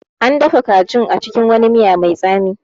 An dafa kajin a cikin wani miya mai tsami